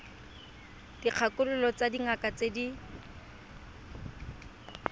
dikgakololo tsa dingaka tse di